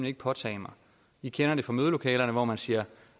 ikke påtage mig vi kender det fra mødelokalerne hvor man siger